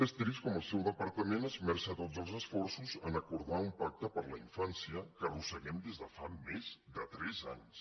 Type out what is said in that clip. és trist com el seu departament esmerça tots els esforços a acordar un pacte per la infància que arrosseguem des de fa més de tres anys